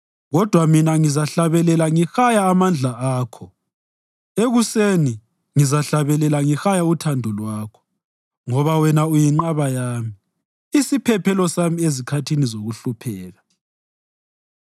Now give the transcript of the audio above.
Kodwa mina ngizahlabelela ngihaya amandla akho, ekuseni ngizahlabelela ngihaya uthando lwakho, ngoba wena uyinqaba yami, isiphephelo sami ezikhathini zokuhlupheka.